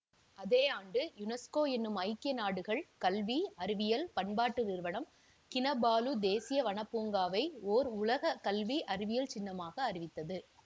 அதே ஆண்டு யுனெஸ்கோ எனும் ஐக்கிய நாடுகள் கல்வி அறிவியல் பண்பாட்டு நிறுவனம் கினபாலு தேசிய வனப்பூங்காவை ஓர் உலக கல்வி அறிவியல் சின்னமாக அறிவித்தது